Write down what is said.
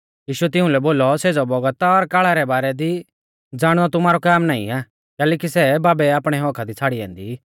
यीशुऐ तिउंलै बोलौ सेज़ै बौगता और काल़ा रै बारै दी ज़ाणनौ तुमारौ काम नाईं आ कैलैकि सै बाबै आपणै हक्क्का दी छ़ाड़ी औन्दी